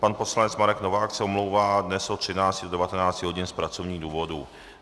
Pan poslanec Marek Novák se omlouvá dnes od 13 do 19 hodin z pracovních důvodů.